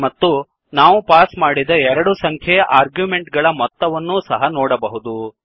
ಮತ್ತು ನಾವು ಪಾಸ್ ಮಾಡಿದ ಎರಡು ಸಂಖ್ಯೆಯ ಆರ್ಗ್ಯುಮೆಂಟ್ ಗಳ ಮೊತ್ತವನ್ನು ಸಹ ನೋಡಬಹುದು